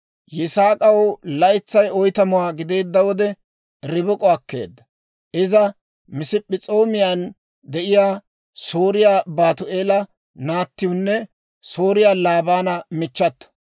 Yisaak'aw laytsay oytamuwaa gideedda wode, Ribik'o akkeedda; iza Masp'p'es'oomiyaan de'iyaa Sooriyaa Baatu'eela naattiwune Sooriyaa Laabaana michchato.